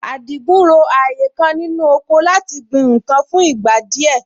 Àdìgún ro ààyè kan nínú oko láti gbin nǹkan fún ìgbà díẹ̀